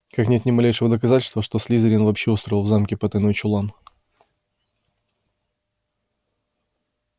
как нет ни малейшего доказательства что слизерин вообще устроил в замке потайной чулан